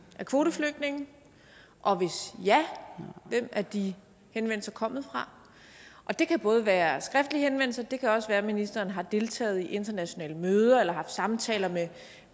af kvoteflygtninge og hvis ja hvem er de henvendelser kommet fra det kan både være skriftlige henvendelser og det kan også være at ministeren har deltaget i internationale møder eller har samtaler med